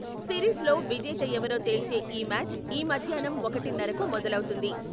Series లో విజేత ఎవరో తేల్చే ఈ మ్యాచ్ ఈ మధ్యాహ్నం ఒకటిన్నరకు మొదలవుతుంది.